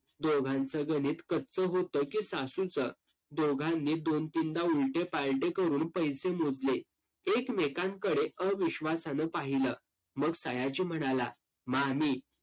दोघांचं गणित कच्चं होतं की सासूचं? दोघांनी दोन-तीनदा उलटे-पालटे करून पैसे मोजले. एकमेकांकडे अविश्वासानं पाहिलं. मग सयाजी म्हणाला, मामी